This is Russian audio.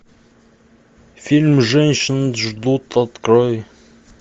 фильм женщины ждут открой